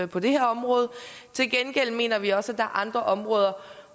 på det her område til gengæld mener vi også at er andre områder